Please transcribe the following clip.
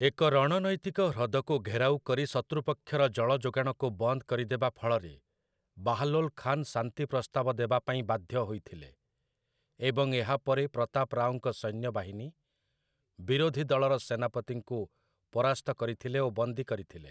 ଏକ ରଣନୈତିକ ହ୍ରଦକୁ ଘେରାଉ କରି ଶତ୍ରୁପକ୍ଷର ଜଳ ଯୋଗାଣକୁ ବନ୍ଦ କରି ଦେବାଫଳରେ ବାହ୍‌ଲୋଲ୍ ଖାନ୍ ଶାନ୍ତି ପ୍ରସ୍ତାବ ଦେବାପାଇଁ ବାଧ୍ୟ ହୋଇଥିଲେ, ଏବଂ ଏହାପରେ ପ୍ରତାପ ରାଓଙ୍କ ସୈନ୍ୟବାହିନୀ ବିରୋଧୀ ଦଳର ସେନାପତିଙ୍କୁ ପରାସ୍ତ କରିଥିଲେ ଓ ବନ୍ଦୀ କରିଥିଲେ ।